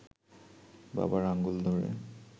বাবার আঙুল ধরে